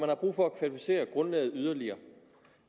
har brug for at kvalificere grundlaget yderligere